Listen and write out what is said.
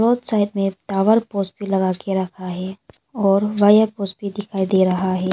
Side में tower poles भी लगा के रखा है और वायर पोल्स भी दिखाई दे रहा है।